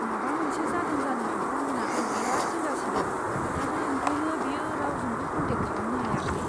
माबा मोनसे जादों जानो हागौ होन्ना आं बेराद जिंगा सिदों आरो ओंखायनो बियो रावजोंबो कन्टेक्ट खालामनो हायाखै।